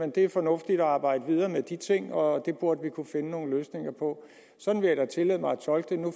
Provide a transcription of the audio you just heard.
det er fornuftigt at arbejde videre med de ting og at det burde vi kunne finde nogle løsninger på sådan vil jeg da tillade mig at tolke det nu